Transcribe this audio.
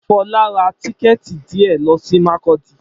Fola rá tìkétí díè lọ si Makurdi